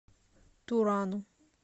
турану